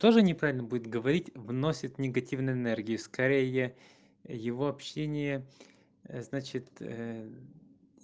тоже неправильно будет говорить вносят негативной энергии скорее его общение значит